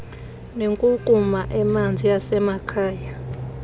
nenkunkuma emanzi yasemakhaya